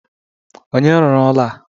Onye rụrụ ụlọ a?